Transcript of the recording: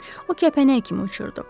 O kəpənək kimi uçurdu.